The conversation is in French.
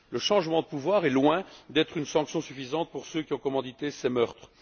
Le changement de pouvoir est loin d'être une sanction suffisante pour ceux qui ont commandité ces meurtres.